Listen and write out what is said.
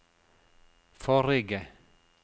forrige